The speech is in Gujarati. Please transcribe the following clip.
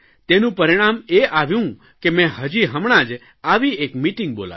તેનું પરિણામ એ આવ્યું કે મેં હજી હમણાં જ આવી એક મીટીંગ બોલાવી